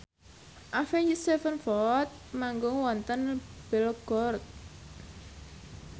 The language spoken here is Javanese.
Avenged Sevenfold manggung wonten Belgorod